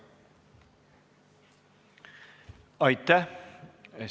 Aitäh!